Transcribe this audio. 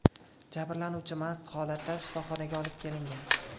Jabrlanuvchi mast holatda shifoxonaga olib kelingan.